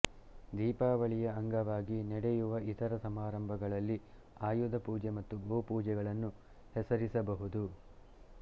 ದೀಪಾವಳಿಯ ಅಂಗವಾಗಿ ನಡೆಯುವ ಇತರ ಸಮಾರಂಭಗಳಲ್ಲಿ ಆಯುಧಪೂಜೆ ಮತ್ತು ಗೋಪೂಜೆಗಳನ್ನು ಹೆಸರಿಸಬಹುದು